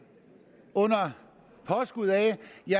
under påskud af